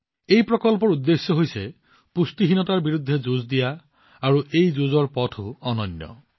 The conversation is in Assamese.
এই প্ৰকল্পটোৰ উদ্দেশ্য হৈছে পুষ্টিহীনতাৰ বিৰুদ্ধে যুঁজ দিয়া আৰু এই যুঁজৰ পথো অতি অনন্য